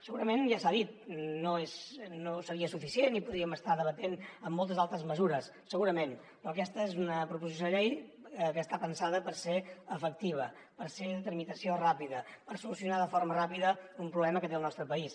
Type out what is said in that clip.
segurament ja s’ha dit no seria suficient i podríem estar debatent amb moltes altres mesures segurament però aquesta és una proposició de llei que està pensada per ser efectiva per ser de tramitació ràpida per solucionar de forma ràpida un problema que té el nostre país